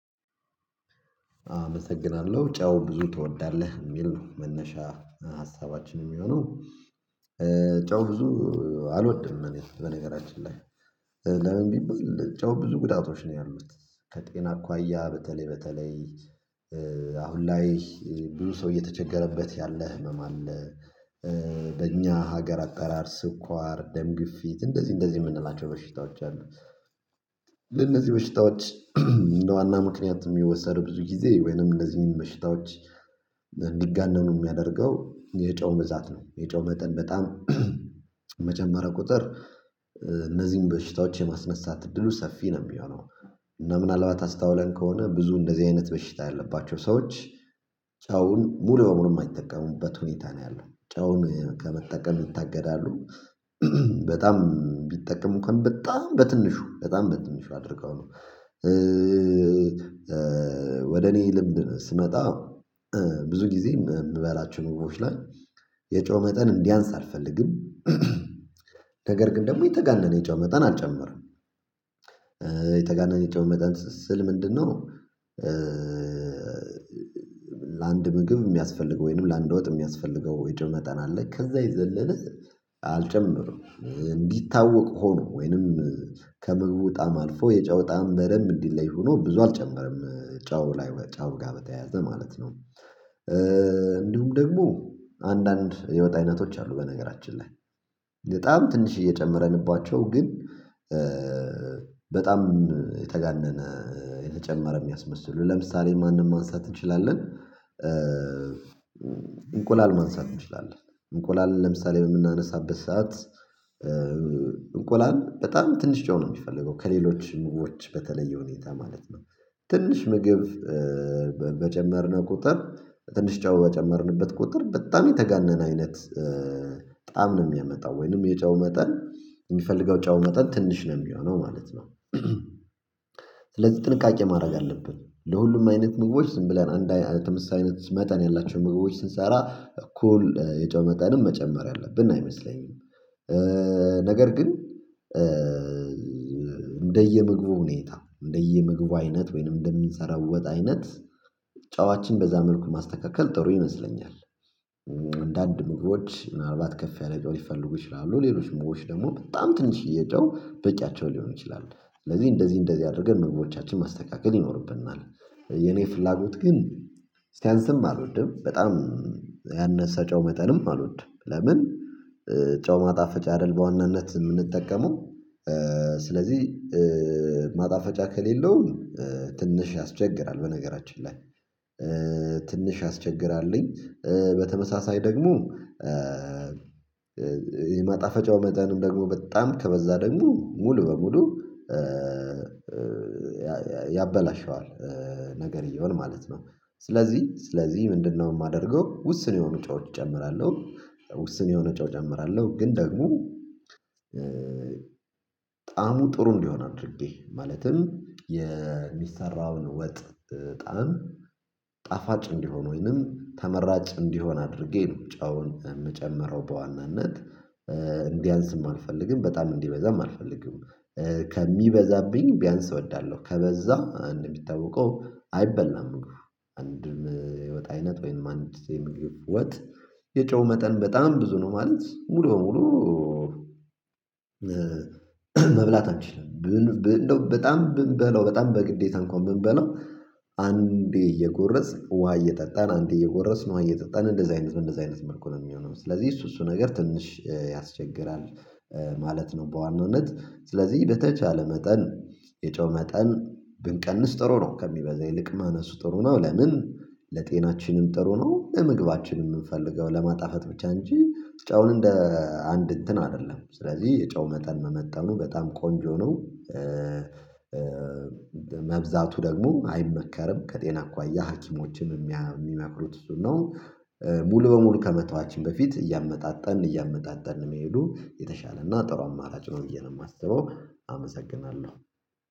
አመሰግናለሁ ጨው ብዙ ትወዳለህ የሚል ነው መነሻ ሀሳባችን የሚሆነው? ጨው ብዙ አልወድም እኔ በነገራችን ላይ። ለምን ቢባል ጨው ብዙ ጉዳቶች ነው ያሉት ከጤና አኳያ በተለይ በተለይ አሁን ላይ ብዙ ሰው እየተቸገረበት ያለ ህመም አለ። በእኛ ሀገር አጠራር ስኳር ደም ግፊት እንደዚህ እንደዚህ የምንላቸው በሽታዎች አሉ። ለነዚህ በሽታዎች እንደ ዋና ምክንያት የሚወሰድ ብዙ ጊዜ ወይንም እነህን በሽታዎች እንዲጋነኑ የሚያደርገው የጨው ብዛት ነው። የጨው መጠን በጣም በመጨመረ ቁጥር እነዚህን በሽታዎች የማስነሳት እድሉ ሰፊ ነው የሚሆነው። እና ምናልባት አስተውለን ከሆነ ብዙ እንደዚህ አይነት በሽታ ያለባቸው ሰዎች ጨውን ሙሉ በሙሉ የማይጠቀሙበት ሁኔታ ነው ያለው ጨውን ከመጠቀም ይታገዳሉ በጣም ቢጠቀሙ እንኩዋን በጣም በትንሹ በጣም በትንሹ አድርገው ነው። ወደ እኔ ልምድ ስመጣ ብዙ ጊዜ የምበላችሁ ኑሮዎች ላይ የጨው መጠን እንዲያንስ አልፈልግም። ነገር ግን ደግሞ የተጋነነ የጨው መጠን አልጨምርም። የተጋነነ የጨው መጠን ስል ምንድነው ነው? ለአንድ ምግብ የሚያስፈልገው ወይንም ለአንድ ወጥ የሚያስፈልገው የጨው መጠን አለ ከዛ ይዘልልህ። አልጨምርም እንዲታወቅ ሆኖ ወይንም ከምግቡ ጣዕም አልፎ የጨው ጣዕም በደንብ እንዲለይ ሆኖ ብዙ አልጨምርም። ጨው ላይ ወይ ጨ ው ጋር በተያያዘ ማለት ነው። እንዲሁም ደግሞ አንዳንድ የወጥ አይነቶች አሉ በነገራችን ላይ በጣም ትንሽዬ ጨምረንባቸው ግን በጣም የተጋነነ የተጨመረ የሚያስመስሉ ለምሳሌ ማንን ማንሳት እንችላለን? እንቁላል ማንሳት እንችላለን እንቁላል ለምሳሌ የምናነሳበት ሰዓት እንቁላል በጣም ትንሽ ጨው ነው የሚፈልገው ከሌሎች ምግቦች በተለየ ሁኔታ ማለት ነው። ትንሽ ምግብ በጨመርነው ቁጥር ትንሽ ጨው በጨመርንበት ቁጥር በጣም የተጋነነ አይነት ጣዕም ነው የሚያመጣው ወይንም የጨው መጠን የሚፈልገው ጨው መጠን ትንሽ ነው የሚሆነው ማለት ነው። ስለዚህ ጥንቃቄ ማድረግ አለብን ለሁሉም አይነት ምግቦች ዝም ብለን አንድ አይነት ተመሳሳይነት መጠን ያላቸውን ምግቦች ስንሰራ እኩል የጨው መጠንም መጨመር ያለብን አይመስለኝም። ነገር ግን እንደየምግቡ ሁኔታ እንደየምግቡ አይነት ወይንም እንደሚሰራው ወጥ አይነት ጫዋችን በዛ መልኩ ማስተካከል ጥሩ ይመስለኛል። አንዳንድ ምግቦች ምናልባት ከፍ ያለ ጨው ይፈልጉ ይችላሉ ሌሎች ሞግቦች ደግሞ በጣም ትንሽዬ ጨው በቂያቸው ሊሆን ይችላል። ስለዚህ እንደዚህ እንደዚህ አድርገን ምግቦቻችን ማስተካከል ይኖርብን እና። የኔ ፍላጎት ግን ስያንስም አልወደም በጣም ያነሳ ጨው መጠንም አልወድም። ለምን ጨው ማጣፈጫ አይደል በዋናነት የምንጠቀመው? ስለዚህ ማጣፈጫ ከሌለው ትንሽ ያስቸግራል። በነገራችን ላይ ትንሽ ያስቸግራልኝ። በተመሳሳይ ደግሞ የማጣፈጫው መጠንም ደግሞ በጣም ከበዛ ደግሞ ሙሉ በሙሉ ያበላሸዋል። ነገርየውን ማለት ነው። ስለዚህ ስለዚህ ምንድነው የማደርገው? ውስን የሆኑ ጨዎች እጨምራለሁ። ውስን የሆነ ጨው እጨምራለሁ ግን ደግሞ ጣዕሙ ጥሩ እንዲሆን አድርጌ ማለትም የሚሰራውን ወጥ ጣዕም ጣፋጭ እንዲሆን ወይንም ተመራጭ እንዲሆን አድርጌ ነው ጨውን የምጨምረው በዋናነት እንዲያንስም አልፈልግም በጣም እንዲበዛም አልፈልግም። ከሚበዛብኝ ቢያንስ እወዳለሁ ከበዛ እንደ ሚታወቀው አይበላም። አንድን የወጥ አይነት ወይንም አንድ የምግብ ወጥ የጨው መጠን በጣም ብዙ ነው ማለት ሙሉ በሙሉ መብላት አንችልም ብንል እንደው በጣም ብንበለው በጣም በግዴታ እንኳን ብንበለው አንዴ እየጎረስን ውሃ እየጠጣን አንዴ እየጎረስን ውሃ እየጠጣን እንደዚህ አይነት እንደዚህ አይነት መልኩ ነው የሚሆነው ስለዚህ እሱ እሱ ነገር ትንሽ ያስቸግራል። ማለት ነው። በዋናነት ስለዚህ በተቻለ መጠን የጨው መጠን ብንቀንስ ጥሩ ነው። ከሚበዛ ይልቅ ማነሱ ጥሩ ነው። ለምን ለጤናችንም ጥሩ ነው። ለምግባችንም የምንፈልገው ለማጣፈጥ ብቻ እንጂ ጨውን እንደ አንድ እንትን አይደለም ስለዚህ የጨው መጠን መመጠኑ በጣም ቆንጆ ነው። መብዛቱ ደግሞ አይመከርም ከጤና አኩአያ ሀኪሞችን የሚመክሩት እሱን ነው። ሙሉ በሙሉ ከመተዋችን በፊት እያመጣጠን እያመጣጠን መሄዱ የተሻለና ጥሩ አማራጭ ነው ብዬ ነው የማስበው። አመሰግናለሁ